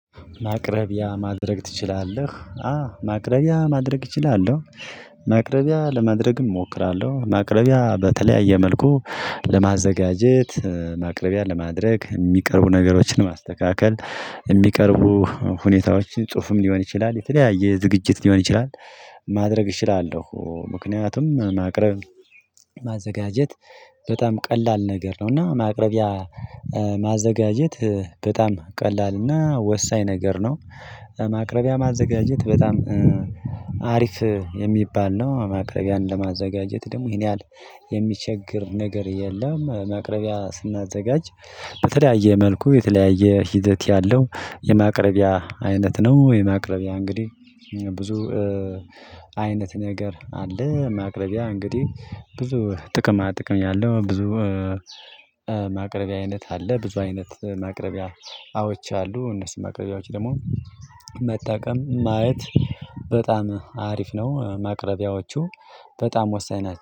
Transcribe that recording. ማቅረቢያ ማድረግ ትችላለህ? አዎ ማቅረቢያ ማድረግ እችላለሁ፤ ማቅረቢያ ለማድረግም እሞክራለሁ ማቅረቢያ በተለያየ መልኩ ለማዘጋጀት ማቅረቢያ ለማድረግ የሚቀርቡ ነገሮችን ማስተካከል የሚቀርቡ ሁኔታዎችን ጽሁፍም ሊሆን ይችላል የተለያየ ዝግጅት ሊሆን ይችላል ማድረግ እችላለሁ ምክንያቱም ማቅረብ ማዘጋጀት በጣም ቀላል ነገር ነው እና ማቅረቢያ ማዘጋጀት በጣም ቀላል እና ወሳኝ ነገር ነው ማቅረቢያ ማዘጋጀት በጣም አሪፍ የሚባል ነው ማቅረቢያን ለማዘጋጀት ደግሞ ይሄን ያህል የሚቸግር ነገር የለም ማቅረቢያ ስናዘጋጅ በተለያየ መልኩ የተለያየ ሂደት ያለው የማቅረቢያ አይነት ነው የማቅረቢያ እንግዲህ ብዙ አይነት ነገር አለ ማቅረቢያ እንግዲህ ብዙ ጥቅማ ጥቅም ያለው ብዙ ማቅረቢያ አይነት አለ ብዙ አይነት ማቅረቢያ እቃዎች አሉ እነሱ ማቅረቢያዎች ደግሞ መጠቀም ማየት በጣም አሪፍ ነው ማቅረቢያዎቹ በጣም ወሳኝ